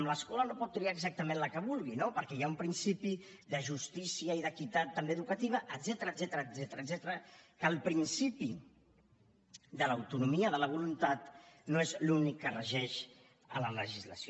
l’escola no pot triar exactament la que vulgui no perquè hi ha un principi de justícia i d’equitat també educativa etcètera que el principi de l’autonomia de la voluntat no és l’únic que regeix en la legislació